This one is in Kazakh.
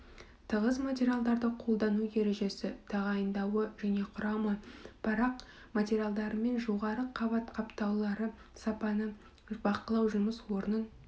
тығыз материалдарды қолдану ережесі тағайындауы және құрамы парақ материалдарымен жоғары қабат қаптаулары сапаны бақылау жұмыс орнын